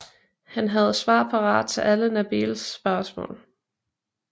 Han havde svar parat til alle Nabeels spørgsmål